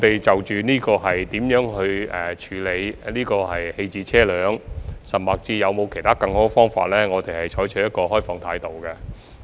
就如何處理棄置車輛，甚或有否其他更好的方法，我們採取開放態度。